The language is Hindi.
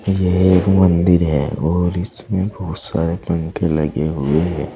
यह एक मंदिर है और इसमें बहुत सारे पंखे लगे हुए हैं।